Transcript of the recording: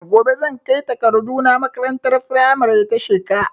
Gobe zan kai takardu na makarantar firamare ta Sheka